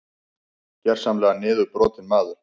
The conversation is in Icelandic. Gersamlega niðurbrotinn maður.